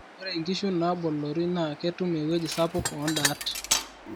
ore inkishu naaboloi naa ketum eweji sapuk ooindaat